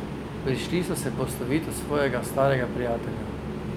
Prišli so se poslovit od svojega starega prijatelja.